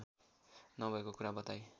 नभएको कुरा बताई